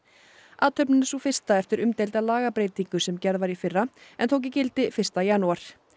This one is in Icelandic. athöfnin er sú fyrsta eftir umdeilda lagabreytingu sem gerð var í fyrra en tók gildi fyrsta janúar